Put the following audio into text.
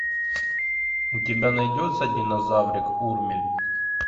у тебя найдется динозаврик урмель